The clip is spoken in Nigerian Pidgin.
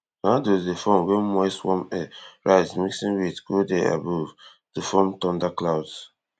dey form wen moist warm air rise mixing with cold air above to form thunderclouds